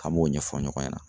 A b'o ɲɛfɔ ɲɔgɔn ɲana